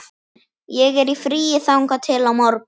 Ég er í fríi þangað til á morgun.